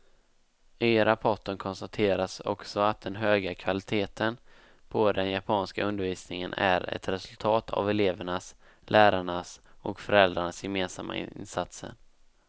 I rapporten konstateras också att den höga kvaliteten på den japanska undervisningen är ett resultat av elevernas, lärarnas och föräldrarnas gemensamma insatser.